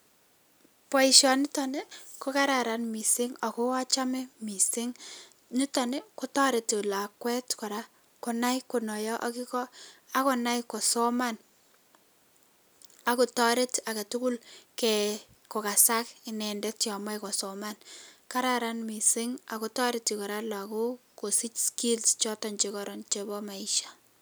Boisiniton ko kararan mising alko achame mising, niton kotoreti lakwet kora konai konaiyo akiiko ako nai kosoman ako toret age tugul kokasak inendet yon moe kosoman. Kararan mising ako toreti lakok kosich skills choton che koron chebo maisha.